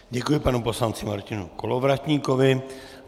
Děkuji panu poslanci Martinu Kolovratníkovi.